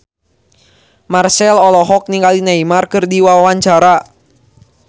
Marchell olohok ningali Neymar keur diwawancara